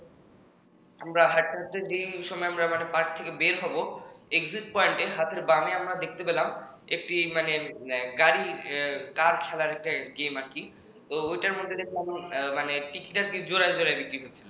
আমরা হাটতে হাঁটতে যে সময় আমরা park থেকে বের হব exit point হাতের বামে আমরা দেখতে পেলাম একটি মানে গাড়ি কার খেলার গেম আর কি তো ওইটার মধ্যে দেখলাম মানে ticket জোড়ায় জোড়ায় বিক্রি করছে